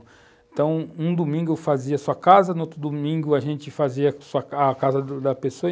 Então, um domingo fazia a sua casa, no outro domingo a gente fazia a casa da pessoa.